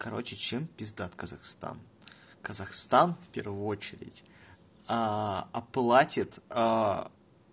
короче чем пиздат казахстан казахстан в первую очередь аа оплатит аа